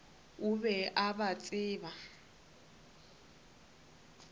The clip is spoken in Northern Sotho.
o be a ba tseba